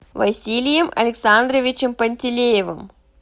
василием александровичем пантелеевым